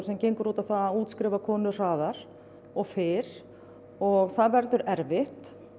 sem gengur út á að útskrifa konur hraðar og fyrr og það verður erfitt